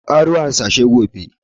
Ka ƙaro harsashai gobe!